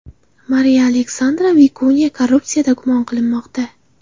Mariya Alexandra Vikunya korrupsiyada gumon qilinmoqda.